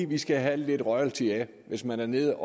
de skal have lidt royalty af det hvis man er nede